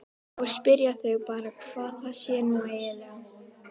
Þá spyrja þau bara hvað það sé nú eiginlega.